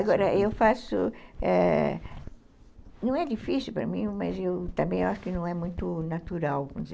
Agora, eu faço é... Não é difícil para mim, mas eu também acho que não é muito natural.